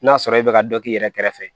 N'a sɔrɔ e bɛ ka dɔ k'i yɛrɛ kɛrɛfɛ